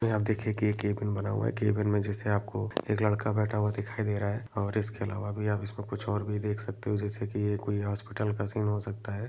नही आप देखिए की केबिन बना हुआ है केबिन में जैसे आपको एक लड़का बैठा हुआ दिखाए दे रहा है और इसके अलावा भी आप इसको कुछ और भी देख सकते हो जैसे की यह एक हॉस्पिटल का सीन हो सकता हैं।